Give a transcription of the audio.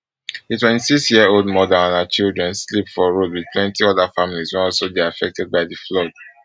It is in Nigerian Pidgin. di twenty-sixyearold mother and her children sleep for road wit plenty oda families wey also dey affected by di flood